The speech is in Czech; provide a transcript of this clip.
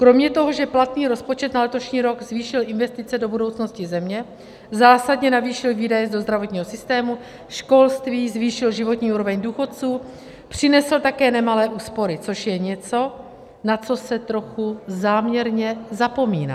Kromě toho, že platný rozpočet na letošní rok zvýšil investice do budoucnosti země, zásadně navýšil výdaje do zdravotního systému, školství, zvýšil životní úroveň důchodců, přinesl také nemalé úspory, což je něco, na co se trochu záměrně zapomíná.